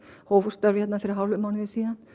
hóf störf hér fyrir hálfum mánuði